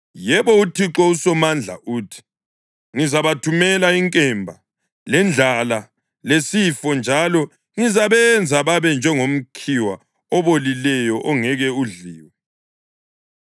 yebo, uThixo uSomandla uthi, “Ngizabathumela inkemba, lendlala lesifo njalo ngizabenza babe njengomkhiwa obolileyo ongeke udliwe.